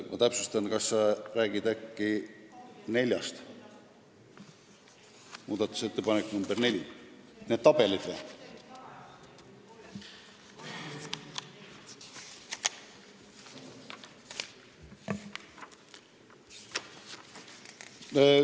Ma täpsustan: kas sa räägid nendest tabelitest?